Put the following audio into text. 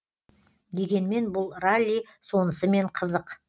дегенмен бұл ралли сонысымен қызық